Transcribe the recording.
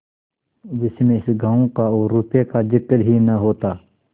जिसमें इस गॉँव का और रुपये का जिक्र ही न होता